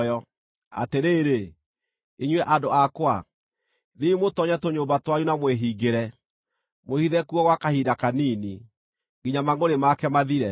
Atĩrĩrĩ, inyuĩ andũ akwa, thiĩi mũtoonye tũnyũmba twanyu na mwĩhingĩre; mwĩhithe kuo gwa kahinda kanini nginya mangʼũrĩ make mathire.